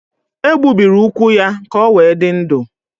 E gbubiri ụkwụ ya ka o wee dị ndụ.